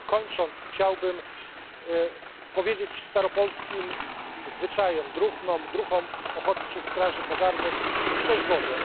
Kończąc, chciałbym powiedzieć staropolskim zwyczajem druhnom i druhom Ochotniczych Straży Pożarnych Szczęść Boże!